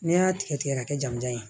Ne y'a tigɛ tigɛ ka kɛ jamujan ye